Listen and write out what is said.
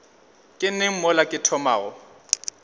ke neng mola ke thomago